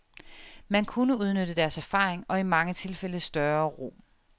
Man kunne udnytte deres erfaring og i mange tilfælde større ro.